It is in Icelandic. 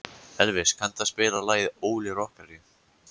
Elvis, kanntu að spila lagið „Óli rokkari“?